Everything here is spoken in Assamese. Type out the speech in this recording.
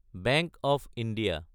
bank of India